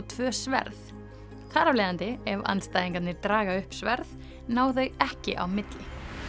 tvö sverð þar af leiðandi ef andstæðingarnir draga upp sverð ná þau ekki á milli